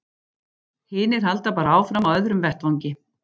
Hinir halda bara áfram á öðrum vettvangi.